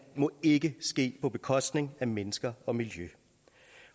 må ikke ske på bekostning af mennesker og miljø